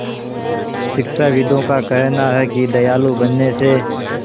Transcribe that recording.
शिक्षाविदों का कहना है कि दयालु बनने से